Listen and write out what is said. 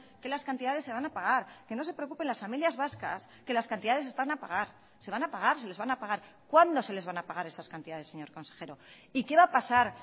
que las cantidades se van a pagar que no se preocupen las familias vascas que las cantidades están a pagar se van a pagar se les van a pagar cuándo se les van a pagar esas cantidades señor consejero y qué va a pasar